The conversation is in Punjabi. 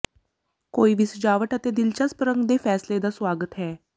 ਕੋਈ ਵੀ ਸਜਾਵਟ ਅਤੇ ਦਿਲਚਸਪ ਰੰਗ ਦੇ ਫੈਸਲੇ ਦਾ ਸੁਆਗਤ ਹੈ